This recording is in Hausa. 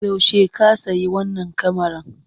Yaushe ka sayi wannan kamaran?